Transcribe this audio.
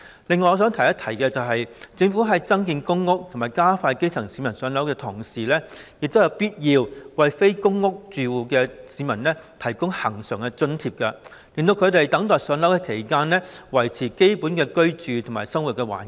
此外，我想提出一點，即政府在增建公屋及加快讓基層市民"上樓"之餘，亦應該為非公屋住戶的市民提供恆常津貼，讓他們在等待"上樓"期間，可以維持基本的居住和生活環境。